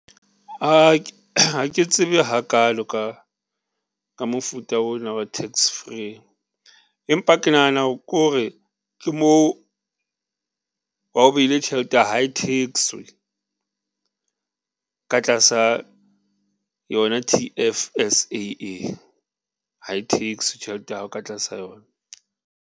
Ha ke tsebe hakalo ka mofuta o na wa tax free, empa ke nahana hore kore ke moo ha o behile tjhelete hae tax-we ka tlasa yona T_F_S_A e, hae tax-we tjhelete ya hao ka tlasa yona.